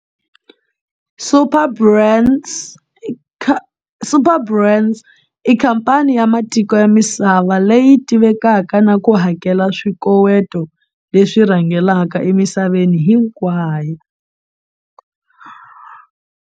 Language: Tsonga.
Superbrands i khamphani ya matiko ya misava leyi tivekaka na ku hakela swikoweto leswi rhangelaka emisaveni hinkwayo.